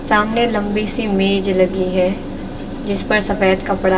सामने लंबी सी मेज लगी है जीस पर सफेद कपड़ा है।